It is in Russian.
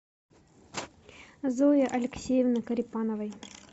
зои алексеевны корепановой